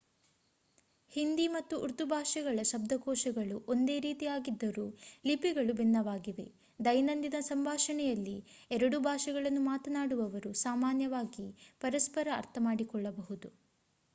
ಹಿಂದಿ ಮತ್ತು ಉರ್ದು ಭಾಷೆಗಳ ಶಬ್ದಕೋಶಗಳು ಒಂದೇ ರೀತಿಯಾಗಿದ್ದರೂ ಲಿಪಿಗಳು ಭಿನ್ನವಾಗಿವೆ ದೈನಂದಿನ ಸಂಭಾಷಣೆಯಲ್ಲಿ ಎರಡೂ ಭಾಷೆಗಳನ್ನು ಮಾತನಾಡುವವರು ಸಾಮಾನ್ಯವಾಗಿ ಪರಸ್ಪರ ಅರ್ಥಮಾಡಿಕೊಳ್ಳಬಹುದು